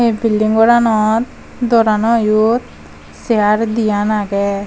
ei bilding goranot doranoyot sear diyan agey.